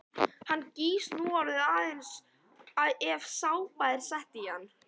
Hann gýs núorðið aðeins ef sápa er sett í hann.